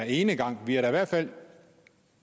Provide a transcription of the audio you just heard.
enegang vi er da i hvert fald